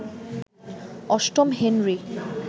অষ্টম হেনরি